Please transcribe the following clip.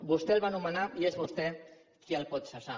vostè el va nomenar i és vostè qui el pot cessar